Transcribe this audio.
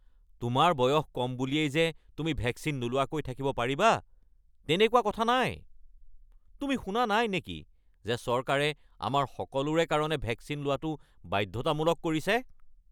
তোমাৰ বয়স কম বুলিয়েই যে তুমি ভেকচিন নোলোৱাকৈ থাকিব পাৰিবা তেনেকুৱা কথা নাই। তুমি শুনা নাই নেকি যে চৰকাৰে আমাৰ সকলোৰে কাৰণে ভেকচিন লোৱাটো বাধ্যতামূলক কৰিছে?